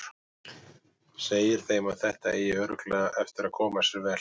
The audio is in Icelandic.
Segir þeim að þetta eigi örugglega eftir að koma sér vel.